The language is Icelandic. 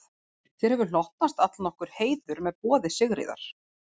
Þér hefur hlotnast allnokkur heiður með boði Sigríðar.